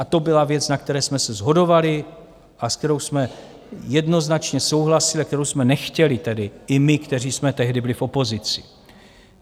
A to byla věc, na které jsme se shodovali a s kterou jsme jednoznačně souhlasili a kterou jsme nechtěli tedy i my, kteří jsme tehdy byli v opozici.